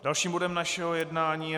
Dalším bodem našeho jednání je